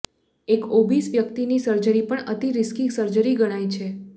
એક ઓબીસ વ્યક્તિની સર્જરી પણ અતિ રિસ્કી સર્જરી ગણાય છે